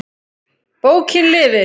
Bókin lifir!